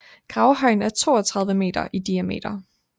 Gravhøjen er 32 meter i diameter